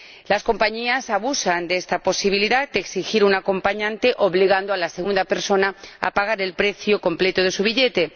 Las compañías abusan de esta posibilidad de exigir un acompañante, obligando a la segunda persona a pagar el precio completo de su billete.